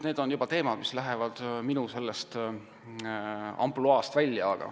Need on juba teemad, mis lähevad minu ampluaast välja.